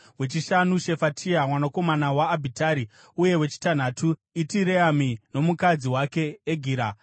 wechishanu, Shefatia mwanakomana waAbhitari uye wechitanhatu Itireami nomukadzi wake Egira.